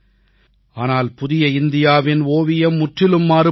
ஆனால் புதிய இந்தியாவின் ஓவியம் முற்றிலும் மாறுபட்டது